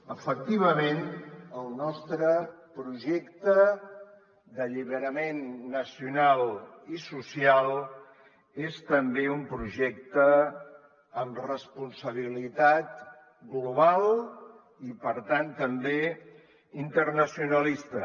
efectivament el nostre projecte d’alliberament nacional i social és també un projecte amb responsabilitat global i per tant també internacionalista